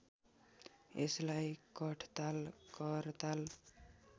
यसलाई कठताल करताल